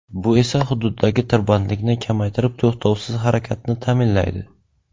Bu esa xududdagi tirbandlikni kamaytirib to‘xtovsiz harakatni ta’minlaydi.